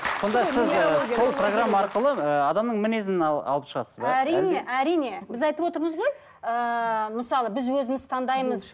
сонда сіз ііі сол программа арқылы ы адамның мінезін алып шығасыз иә әрине әрине біз айтып отырмыз ғой ыыы мысалы біз өзіміз таңдаймыз